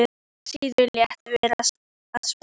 Síra Sigurður lét vera að spyrja.